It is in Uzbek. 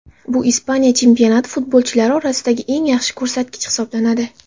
Bu Ispaniya chempionati futbolchilari orasidagi eng yaxshi ko‘rsatkich hisoblanadi .